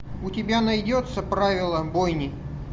у тебя найдется правило бойни